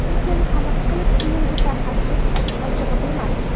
Lekin qanaqa qilib keyin bu tarqab ketdi, ochig‘i bilmadim.